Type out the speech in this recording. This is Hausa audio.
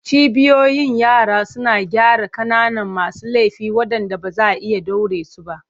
Cibiyoyin yara suna gyara ƙananan masu laifi waɗanda ba za a iya ɗaure su ba.